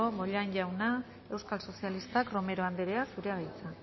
bollain jauna euskal sozialistak romero anderea zurea da hitza